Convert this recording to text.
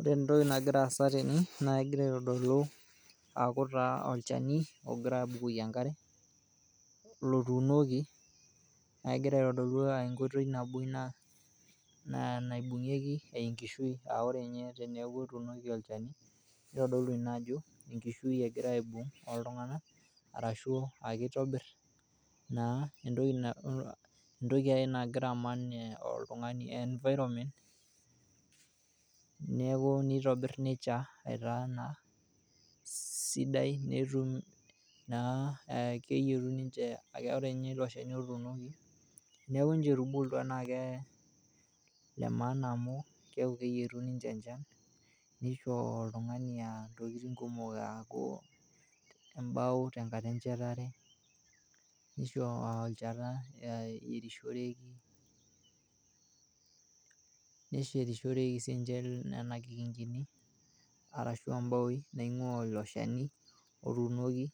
Ore entoki nagira aasa tene naa egir aitodolu aaku taa olcheni ogirai aabukoki enkare lotuunoki naa egira aitodolu inkoitoi nabo ina naibung'eki enkishui, aaore ninye teneaku etuuno olcheni neitodolu ina ajo enkishui egirai aibung' oltungana arashu keitobirr naa entoki ake nagira aman oltungani environment neaku neitobirr nechaa aitaa naa sidai netum naa aakeyetuni ninche akore ninye ilo cheni otuunoki neaku ninche etubulutwa naaku kee lemaana amu keyetu ninche enchan neishoo oltungani ntokitin kumok aaku embao tenkata enchetare neisho olchat oyerishoreki, neshetishoreki sii ninche nena kikingin arashu embaoii naing'ua ilo sheni otuunoki